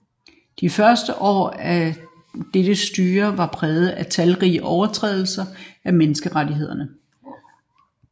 De første år af dette styre var præget af talrige overtrædelser af menneskerettighederne